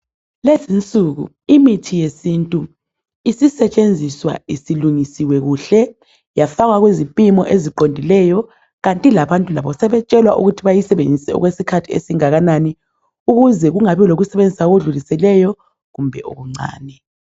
Lezinsuku imithi yesintu isisetshenziswa isilungisiwe kuhle yafakwa kuzipimo eziqondileyo kanti labantu labo sebetshelwa ukuthi bayisebenzise okwesikhathi esinganani ukuze kungabi lokuyisebenzisa okudlulileyo kumbe okuncane.